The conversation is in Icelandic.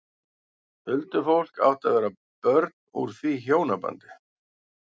Huldufólk átti að vera börn úr því hjónabandi.